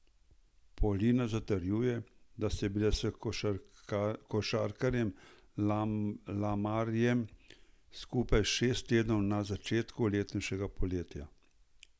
Polina zatrjuje, da sta bila s košarkarjem Lamarjem skupaj šest tednov na začetku letošnjega poletja.